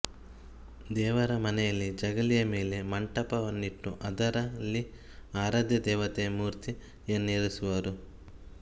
ದೇವರಮನೆಯಲ್ಲಿ ಜಗಲಿಯ ಮೇಲೆ ಮಂಟಪವನ್ನಿಟ್ಟು ಅದರಲ್ಲಿ ಆರಾಧ್ಯ ದೇವತೆಯ ಮೂರ್ತಿಯನ್ನಿರಿಸುವರು